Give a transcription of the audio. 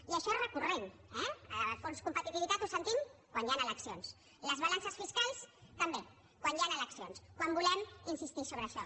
i això és recurrent eh el fons de competitivitat ho sentim quan hi han eleccions les balances fiscals també quan hi han eleccions quan volem insistir sobre això